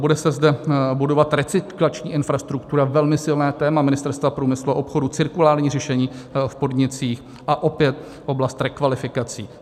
Bude se zde budovat recyklační infrastruktura, velmi silné téma Ministerstva průmyslu a obchodu, cirkulární řešení v podnicích a opět oblast rekvalifikací.